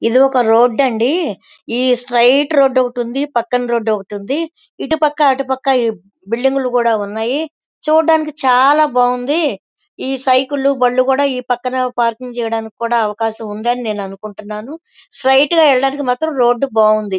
ఇది ఒక రోడ్ అండి. ఇది స్ట్రెయిట్ రోడ్ ఒకటి వుంది. పక్కన రోడ్ ఒకటి వుంది. ఇటు పక్క అటు పక్క బిల్డింగ్ లు కూడా వున్నాయ్. చూడానికి చాల బాగుంది. ఈ సైకిల్ లు బండులు కూడా పక్కనే పార్కింగ్ చేయడానికి ఉంది అనుకుంటున్నాను. స్ట్రెయిట్ గ వెళ్ళడానికి అయితే బాగుంది.